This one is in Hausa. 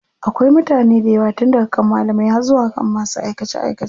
Akwai mutane daywa tun daga kan malamai har zuwa kan masu aikace aikace.